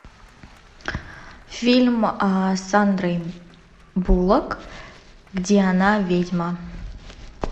фильм с сандрой буллок где она ведьма